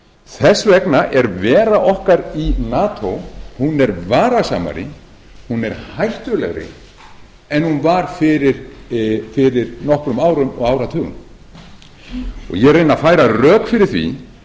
þess vegna er vera okkar í nato varasamari hún er hættulegri en hann á fyrir nokkrum árum og áratugum ég reyni að færa rök fyrir því